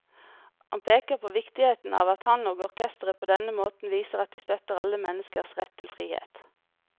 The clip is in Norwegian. Han peker på viktigheten av at han og orkesteret på denne måten viser at de støtter alle menneskers rett til frihet.